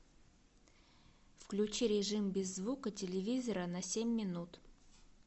включи режим без звука телевизора на семь минут